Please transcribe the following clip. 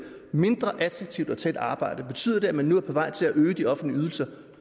mindre attraktivt at tage et arbejde betyder det at man nu er på vej til at øge de offentlige ydelser